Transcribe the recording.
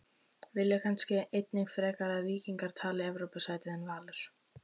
Vilja kannski einnig frekar að Víkingur taki Evrópusætið en Valur?